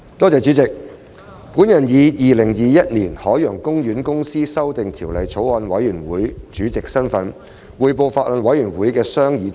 主席，我以《2021年海洋公園公司條例草案》委員會主席的身份，匯報法案委員會的商議重點。